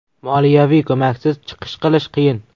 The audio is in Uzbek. Moliyaviy ko‘maksiz chiqish qilish qiyin.